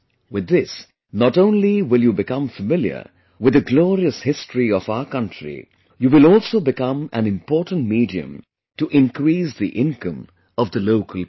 With this, not only will you become familiar with the glorious history of our country; you will also become an important medium to increase the income of the local people